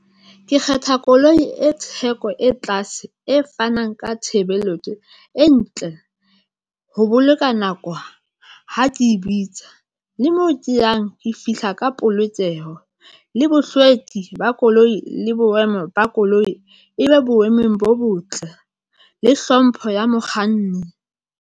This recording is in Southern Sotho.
Ke kgetha koloi e theko, e tlase, e fanang ka tshebeletso e ntle ho boloka nako ha ke e bitsa le moo ke yang ke fihla ka polokeho le bohlweki ba koloi le boemo ba koloi e be boemong bo botle le hlompho ya mokganni.